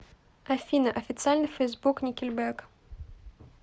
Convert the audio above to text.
афина официальный фейсбук никельбэк